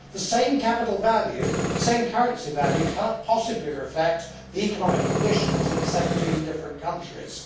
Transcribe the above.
The same currency value cannot possibly reflect the economic conditions in 17 different countries.